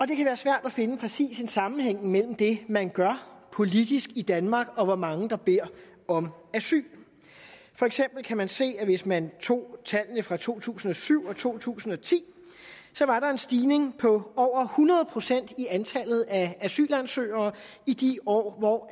det kan være svært at finde præcis en sammenhæng mellem det man gør politisk i danmark og hvor mange der beder om asyl for eksempel kan man se at hvis man tog tallene fra to tusind og syv to tusind og ti var der en stigning på over hundrede procent i antallet af asylansøgere i de år hvor